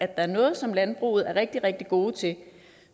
der noget som landbruget er rigtig rigtig gode til